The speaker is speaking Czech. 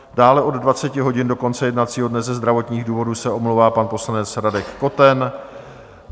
Dále od 20 hodin do konce jednacího dne ze zdravotních důvodů se omlouvá pan poslanec Radek Koten.